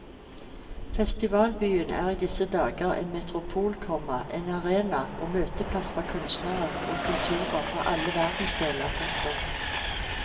Festivalbyen er i disse dager en metropol, komma en arena og møteplass for kunstnere og kulturer fra alle verdensdeler. punktum